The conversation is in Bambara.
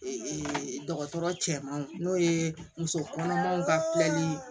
dɔgɔtɔrɔ cɛmanw n'o ye musokɔnɔmaw ka filɛli ye